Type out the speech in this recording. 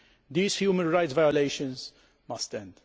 These human rights violations must end.